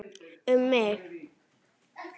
Um mig?